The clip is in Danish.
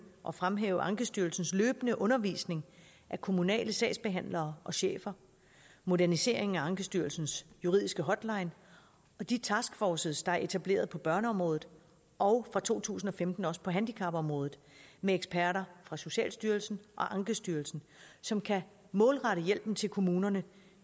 og fremhæve ankestyrelsens løbende undervisning af kommunale sagsbehandlere og chefer moderniseringen af ankestyrelsens juridiske hotline og de taskforces der er etableret på børneområdet og fra to tusind og femten også på handicapområdet med eksperter fra socialstyrelsen og ankestyrelsen som kan målrette hjælpen til kommunerne